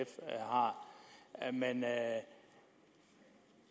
har men